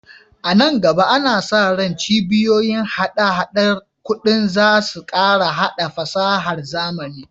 A nan gaba, ana sa ran cibiyoyin hada-hadar kuɗi za su ƙara haɗa fasahar zamani.